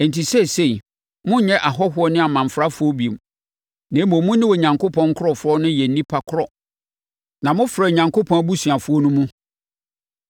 Enti seesei, monnyɛ ahɔhoɔ ne amanfrafoɔ bio, na mmom mo ne Onyankopɔn nkurɔfoɔ no yɛ nnipa korɔ na mofra Onyankopɔn abusuafoɔ no mu,